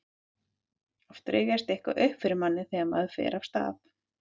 Oft rifjast eitthvað upp fyrir manni þegar maður fer af stað.